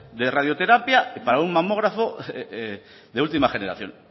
de radioterapia para un mamógrafo de última generación